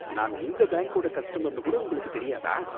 நான் உங்க பேங்க்கோட கஸ்டமர்னு கூட உங்களுக்கு தெரியாதா